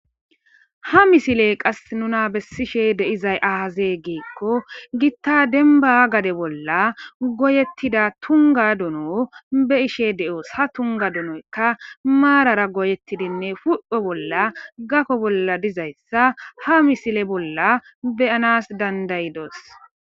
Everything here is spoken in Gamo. Ha misiley qas nuna bessishe deizay ahaze giikko gitta denba gade bolla goyettida tunga duno be ishe de7os ha tunga dunoykka maarara goyettidinne fupho bolla gakko bolla dizayssa ha misile bolla beyanas dandayidos.